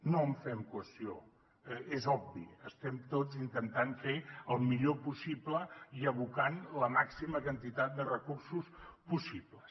no en fem qüestió és obvi ho estem tots intentant fer el millor possible i abocant hi la màxima quantitat de recursos possibles